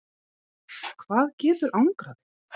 hvað getur angrað þig?